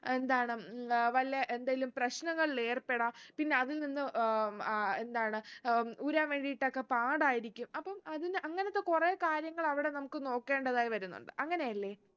എന്താണ് ഉം വല്ല എന്തേലും പ്രശ്നങ്ങളിലേർപ്പെടാം പിന്നെ അതിൽ നിന്ന് ഏർ ഏർ എന്താണ് ഉം ഊരാൻ വേണ്ടീട്ടൊക്കെ പാടായിരിക്കും അപ്പം അതിന്ന് അങ്ങനത്തെ കുറേ കാര്യങ്ങൾ അവിടെ നമുക്ക് നോക്കേണ്ടതായി വരുന്നുണ്ട് അങ്ങനെയല്ലേ